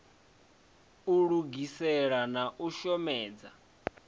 u lugisela na u shomedza